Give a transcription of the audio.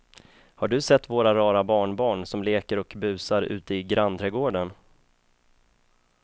Har du sett våra rara barnbarn som leker och busar ute i grannträdgården!